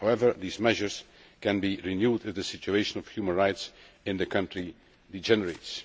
However, the measures can be renewed if the situation of human rights in the country degenerates.